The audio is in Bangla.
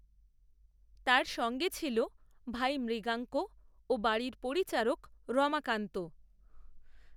তার সঙ্গে ছিল ভাই মৃগাঙ্ক ও বাড়ির পরিচারক, রমাকান্ত